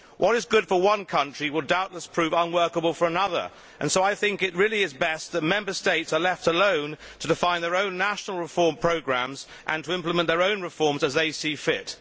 What is good for one country will doubtless prove unworkable for another, so I think it is best if Member States are left alone to define their own national reform programmes and to implement their own reforms as they see fit.